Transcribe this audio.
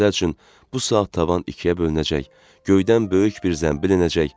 Məsəl üçün, bu saat tavan ikiyə bölünəcək, göydən böyük bir zəmbil enəcək.